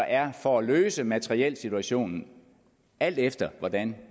er for at løse materielsituationen alt efter hvordan